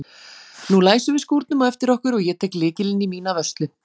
Nú læsum við skúrnum á eftir okkur og ég tek lykilinn í mína vörslu.